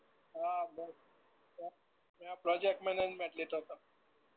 હા ભાઇ મે મે પ્રોજેકટ મેનેજમેન્ટ લીધો તો.